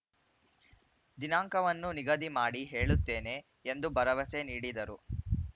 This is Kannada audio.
ದಿನಾಂಕವನ್ನು ನಿಗದಿ ಮಾಡಿ ಹೇಳುತ್ತೇನೆ ಎಂದು ಭರವಸೆ ನೀಡಿದರು